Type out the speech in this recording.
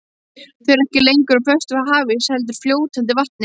Þau eru ekki lengur úr föstum hafís heldur fljótandi vatni.